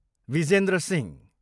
Vijendra Singh